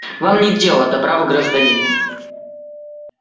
вам нет дела до права гражданина